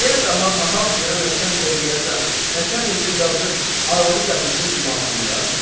Niyə daha nahaq yerə nəçənliyə deyəsən, nəçənlikdə yazıb arvadı gətirsin divanxanaya?